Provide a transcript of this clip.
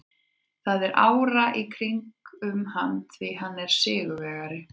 Það er ára í kringum hann því hann er sigurvegari.